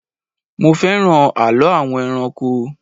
Mo fẹ́ràn àlọ́ àwọn ẹranko